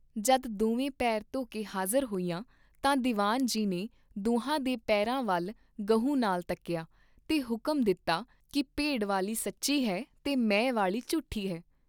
ਜਦ ਦੋਵੇਂ ਪੈਰ ਧੋ ਕੇ ਹਾਜ਼ਰ ਹੋਈਆਂ ਤਾਂ ਦੀਵਾਨ ਜੀ ਨੇ ਦੋਹਾਂ ਦੇ ਪੈਰਾਂ ਵੱਲ ਗਹੁ ਨਾਲ ਤਕੀਆ ਤੇ ਹੁਕਮ ਦਿੱਤਾ ਕੀ ਭੇਡ ਵਾਲੀ ਸੱਚੀ ਹੈ ਤੇ ਮੈਂ ਵਾਲੀ ਝੂਠੀ ਹੈ।